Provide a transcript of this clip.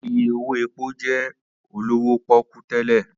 Ìyè owó èpó jẹ́ olówó pọ́kú tẹ́lẹ̀